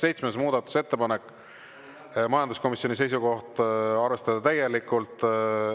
Seitsmes muudatusettepanek, majanduskomisjoni seisukoht: arvestada täielikult.